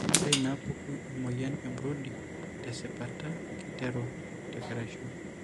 Ore inaapuku emuoyian eBrody tesipata keiteru tekeraisho.